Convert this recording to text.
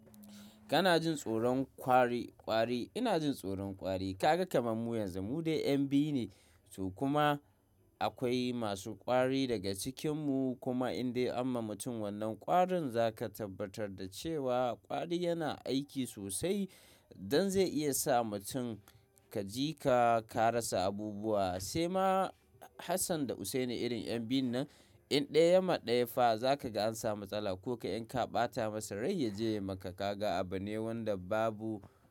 Kana jin tsoron kwari kwari. Ina jin tsoron kwari. Kaga kamammu yanzu mu dai 'yan biyu ne to kuma akwai masu kwari daga cikinmu kuma in dai amma mutum wannan kwarin za ka tabbatar da cewa kwari yana aiki sosai don zai iya sa mutum ka ji ka karasa abubuwa. Sai ma Hassan da Hussaini irin 'yan biyu nan in ɗaya ma ɗaya fa za ka ga an samu matsala ko ka in ka ɓata masa rai ya je ya maka kaga abu ne wanda babu.